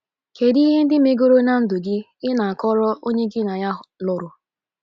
Kedu ihe ndị megoro na ndu gi ị na-akọro onye gị na ya lụrụ?